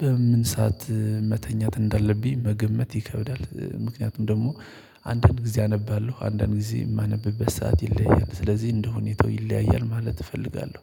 በምን ሰዓት መተኛት እንዳለብኝ መገመት ይከብዳል። ምክንያቱም ደግሞ አንዳንድ ጊዜ አነባለሁ አንዳንድ ጊዜ የማነብበት ሰዓት ይለያያል ስለዚህ እንደ ሁኔታው ይለያያል ማለት እፈልጋለሁ